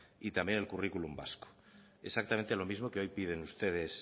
y también el currículum vasco exactamente lo mismo que hoy piden ustedes